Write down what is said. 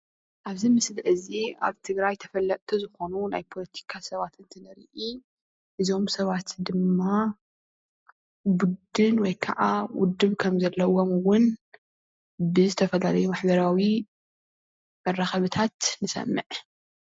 እብዚ ምስሊ እዚ አብ ትግራይ ተፈለጥቲ ዝኾኑ ናይ ፖለቲካ ሰባት እንትንሪኢ እዞም ሰባት ድማ ብድል ወይ ከዓ ውድብ ከምዘለዎም እውን ብዝተፈላለዩ ማሕበራዊ መራከብታት ንሰምዕ።